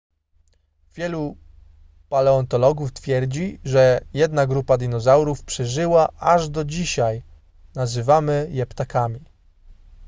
wielu paleontologów twierdzi że jedna grupa dinozaurów przeżyła aż do dzisiaj nazywamy je ptakami